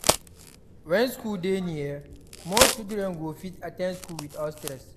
When school dey near, more children go fit at ten d school without stress